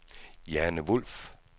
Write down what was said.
Jane Wulff